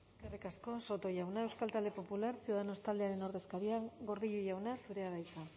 eskerrik asko soto jauna euskal talde popular ciudadanos taldearen ordezkaria gordillo jauna zurea da hitza